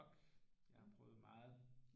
Ork jeg har prøvet meget